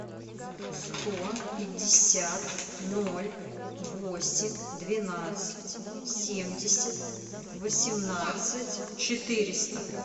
сто пятьдесят ноль восемь двенадцать семьдесят восемнадцать четыреста